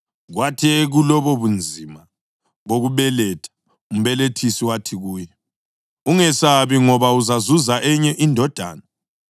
Kwathi ekulobobunzima bokubeletha umbelethisi wathi kuye, “Ungesabi. Ngoba uzazuza enye indodana.”